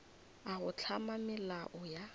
a go hlama melao ya